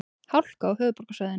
Hálka á höfuðborgarsvæðinu